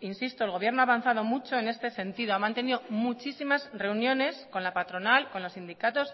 insisto el gobierno ha avanzado mucho en este sentido ha mantenido muchísimas reuniones con la patronal con los sindicatos